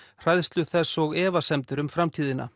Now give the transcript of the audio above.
hræðslu þess og efasemdir um framtíðina